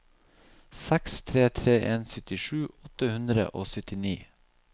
seks tre tre en syttisju åtte hundre og syttini